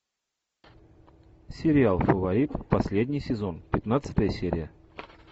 сериал фаворит последний сезон пятнадцатая серия